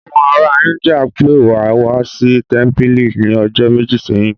Àwọn ará Íńdíà pe wa wá sí tẹ́mpìlì ní ọjọ́ méjì sẹ́yìn